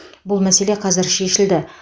бұл мәселе қазір шешілді